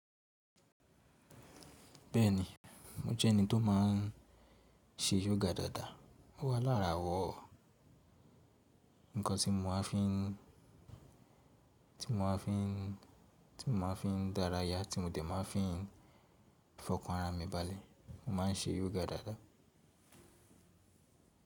Bẹ́ẹ̀ni mo jẹ́ ẹni tó má ń ṣe yoga dáadáa. Ó wà lára àwọ̀ nǹkan tí mo máa ń fi ti mo máa ń fi ti mo máa ń fi dáràyà tí mo tẹ̀ máa ń fi fọkàn ara mi balẹ̀. Mo má ń ṣe yoga dáadáa.